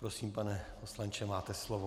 Prosím, pane poslanče, máte slovo.